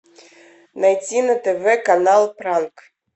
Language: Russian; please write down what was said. найти на тв канал пранк